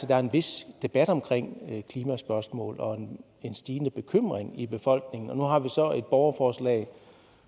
der er en vis debat om klimaspørgsmål og en stigende bekymring i befolkningen og nu har vi så et borgerforslag